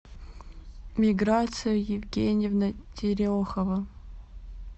миграция евгеньевна терехова